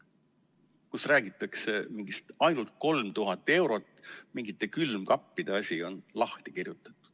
Seal räägitakse mingist 3000 eurost, ainult mingite külmkappide asi on lahti kirjutatud.